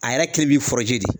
A yɛrɛ kelen b'i fɔrɔje de.